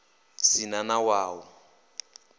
si na na wa u